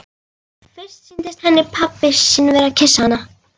Fyrst sýndist henni pabbi sinn vera að kyssa hana.